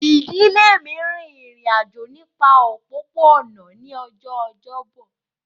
Ìdílé mi rin ìrìn àjò nípa òpópó-ọ̀nà ní ọjọ́ ọjọ́bọ̀